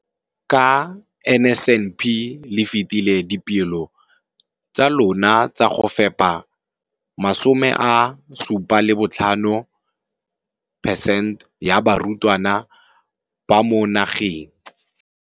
Ka NSNP le fetile dipeelo tsa lona tsa go fepa 75 percent ya barutwana ba mo nageng.